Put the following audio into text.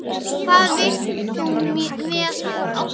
Hvað vilt þú með hann?